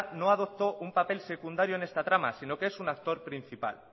no adoptó un papel secundario en esta trama sino que es un actor principal